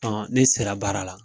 Ne sera baara la.